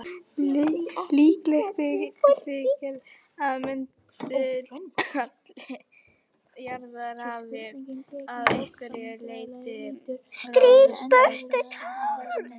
Líklegt þykir að möndulhalli jarðar hafi að einhverju leyti ráðist af þessum árekstri.